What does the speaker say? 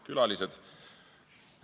Külalised!